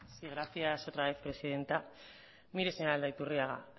sí gracias otra vez presidente mire señor aldaiturriaga